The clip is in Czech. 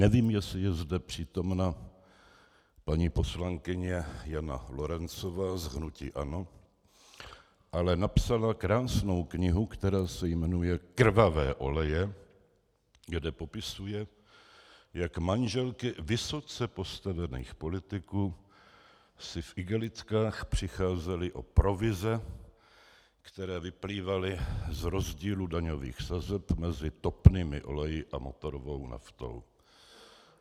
Nevím, jestli je zde přítomna paní poslankyně Jana Lorencová z hnutí ANO, ale napsala krásnou knihu, která se jmenuje Krvavé oleje, kde popisuje, jak manželky vysoce postavených politiků si v igelitkách přicházely o provize, které vyplývaly z rozdílu daňových sazeb mezi topnými oleji a motorovou naftou.